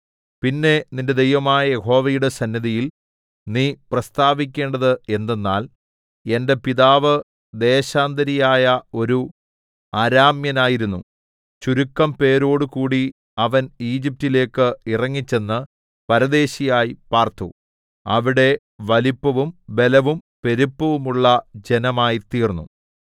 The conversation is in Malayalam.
പിന്നെ നിന്റെ ദൈവമായ യഹോവയുടെ സന്നിധിയിൽ നീ പ്രസ്താവിക്കേണ്ടത് എന്തെന്നാൽ എന്റെ പിതാവ് ദേശാന്തരിയായ ഒരു അരാമ്യനായിരുന്നു ചുരുക്കംപേരോടു കൂടി അവൻ ഈജിപ്റ്റിലേക്ക് ഇറങ്ങിച്ചെന്ന് പരദേശിയായി പാർത്തു അവിടെ വലിപ്പവും ബലവും പെരുപ്പവുമുള്ള ജനമായിത്തീർന്നു